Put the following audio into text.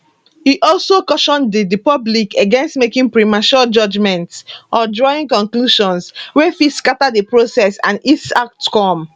e also caution di di public against making premature judgments or drawing conclusions wey fit scata di process and its outcome